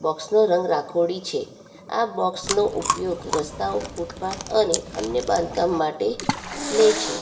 Box નો રંગ રાખોડી છે આ બોક્સ નો ઉપયોગ રસ્તાઓ ફૂટપાથ અને અન્ય બાંધકામ માટે લે છે.